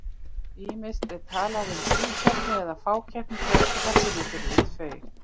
Ýmist er talað um tvíkeppni eða fákeppni þegar keppinautar eru tveir.